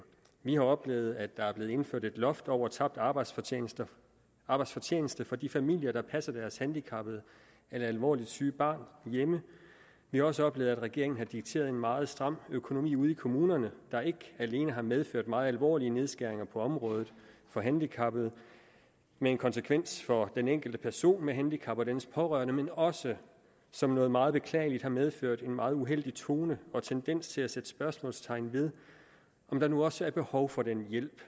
vi har oplevet at der er blevet indført et loft over tabt arbejdsfortjeneste arbejdsfortjeneste for de familier der passer deres handicappede eller alvorligt syge barn hjemme vi har også oplevet at regeringen har dikteret en meget stram økonomi ude i kommunerne der ikke alene har medført meget alvorlige nedskæringer på området for handicappede med konsekvens for den enkelte person med handicap og dennes pårørende men også som noget meget beklageligt har medført en meget uheldig tone og tendens til at sætte spørgsmålstegn ved om der nu også er behov for den hjælp